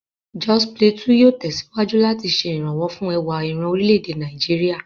Jos Plateau yóò tẹ̀síwájú láti ṣe ìrànwọ́ fún ẹwà ìran orílẹ̀-èdè Nàìjíríà.